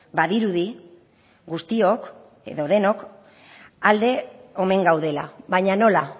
badirudi guztiok edo denok alde omen gaudela baina nola